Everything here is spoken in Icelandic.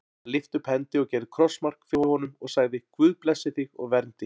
Hann lyfti upp hendi og gerði krossmark fyrir honum og sagði:-Guð blessi þig og verndi.